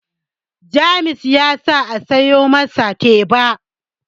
James ya sa a siyo masa teba